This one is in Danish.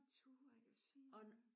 I turde ikke at sige noget